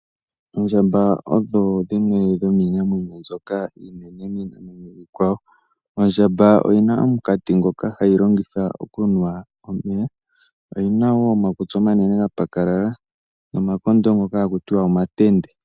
Oondjamba odho dhimwe dhomiinamwenyo iinene miinamwenyo iikwawo. Ondjamba oyi na omunkati ngoka hayi longitha okunwa omeya. Oyi na wo omakutsi omanene ga pakalala nomakondo ngoka hakutiwa omatende.